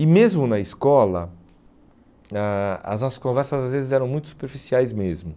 E mesmo na escola, a as nossas conversas às vezes eram muito superficiais mesmo.